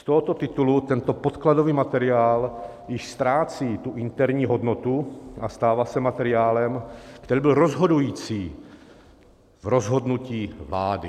Z tohoto titulu tento podkladový materiál již ztrácí tu interní hodnotu a stává se materiálem, který byl rozhodující v rozhodnutích vlády.